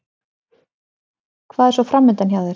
Hvað er svo framundan hjá þér?